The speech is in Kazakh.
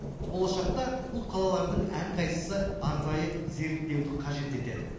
болашақта бұл қалалардың әрқайсысы арнайы зерттеуді қажет етеді